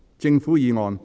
政府議案。